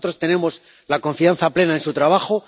Nosotros tenemos confianza plena en su trabajo.